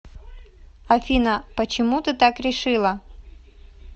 афина почему ты так решила